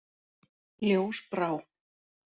Ljósbrá